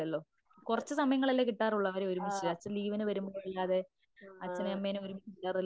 ഹും ആ മ് ആ